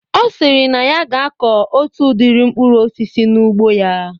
Ọ sịrị na ya ga na-akọ otu udiri mkpụrụ osisi n'ugbo ya